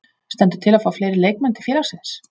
Stendur til að fá fleiri leikmenn til félagsins?